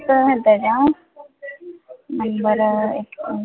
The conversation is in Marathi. number